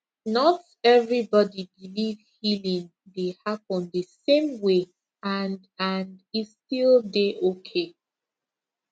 not everybody believe healing dey happen the same way and and e still dey okay